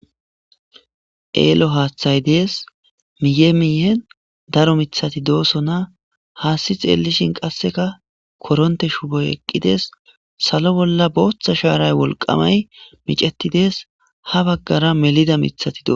eelo haaththay dees miye miyen daro mithati doosona haasti xeelishin qasseka koronte shuboy eqqides salo bolla booththa shaaray wolqamay micetidees ha baggara melida mithati doo